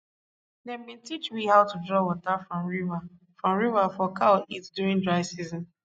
dem bin teach we how to draw water from river from river for cow eat during dry season